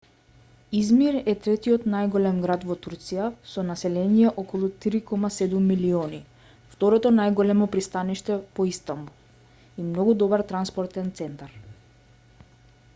измир е третиот најголем град во турција со население од околу 3,7 милиони второ најголемо пристаниште по истанбул и многу добар транспортен центар